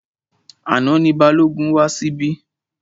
Àná ni Balógun wá síbí.